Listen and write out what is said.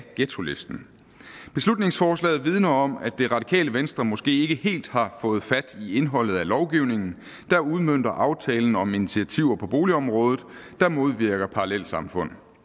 ghettolisten beslutningsforslaget vidner om at det radikale venstre måske ikke helt har fået fat i indholdet af lovgivningen der udmønter aftalen om initiativer på boligområdet som modvirker parallelsamfund